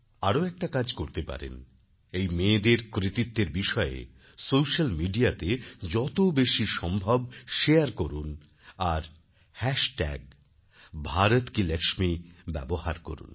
আরও একটা কাজ করতে পারেন এই মেয়েদের কৃতিত্বের বিষয়ে সোশ্যাল মিডিয়াতে যত বেশি সম্ভব শেয়ার করুন আর হ্যাশট্যাগbharatkilaxmi ব্যবহার করুন